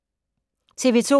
TV 2